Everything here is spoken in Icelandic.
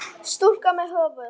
Stúlka með höfuð.